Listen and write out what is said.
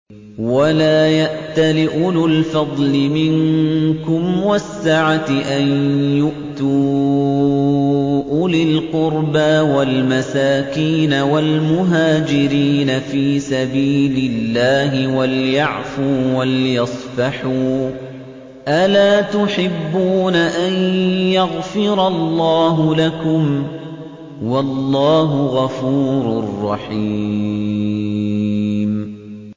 وَلَا يَأْتَلِ أُولُو الْفَضْلِ مِنكُمْ وَالسَّعَةِ أَن يُؤْتُوا أُولِي الْقُرْبَىٰ وَالْمَسَاكِينَ وَالْمُهَاجِرِينَ فِي سَبِيلِ اللَّهِ ۖ وَلْيَعْفُوا وَلْيَصْفَحُوا ۗ أَلَا تُحِبُّونَ أَن يَغْفِرَ اللَّهُ لَكُمْ ۗ وَاللَّهُ غَفُورٌ رَّحِيمٌ